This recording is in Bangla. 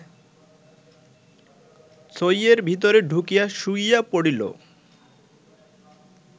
ছইয়ের ভিতরে ঢুকিয়া শুইয়া পড়িল